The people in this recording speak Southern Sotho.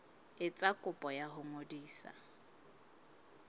etsa kopo ya ho ngodisa